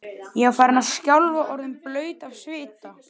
Ég var farin að skjálfa og orðin blaut af svita.